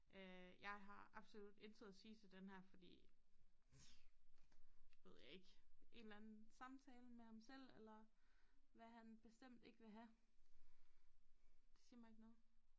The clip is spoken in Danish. Øh jeg har absolut intet at sige til denne her fordi ved jeg ikke en eller anden samtale med ham selv eller hvad han bestemt ikke vil have det siger mig ikke noget